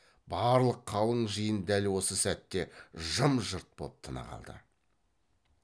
барлық қалың жиын дәл осы сәтте жым жырт боп тына қалды